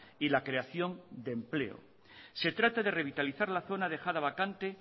y la creación de empleo se trata de revitalizar la zona dejada vacante